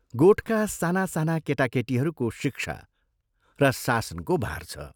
गोठका सानासाना केटा केटीहरूको शिक्षा र शासनको भार छ।